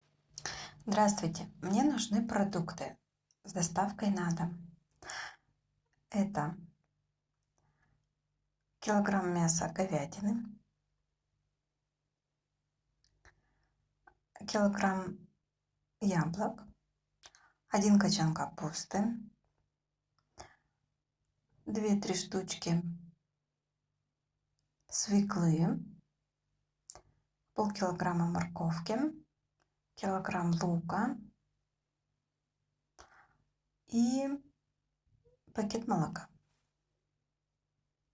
здравствуйте мне нужны продукты с доставкой на дом это килограмм мяса говядины килограмм яблок один кочан капусты две три штучки свеклы полкилограмма морковки килограмм лука и пакет молока